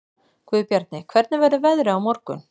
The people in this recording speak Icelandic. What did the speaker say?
Guðbjarni, hvernig verður veðrið á morgun?